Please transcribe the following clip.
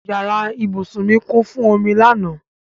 Yàrá ìbúsùn kún fún omi lánàá.